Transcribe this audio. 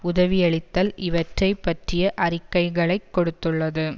உதவியளித்தல் இவற்றை பற்றிய அறிக்கைகளைக் கொடுத்துள்ளது